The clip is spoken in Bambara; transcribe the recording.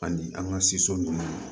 Ani an ka ninnu